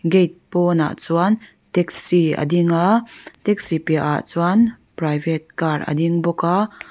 gate pawnah chuan taxi a ding a taxi piah ah chuan private car a ding bawk a.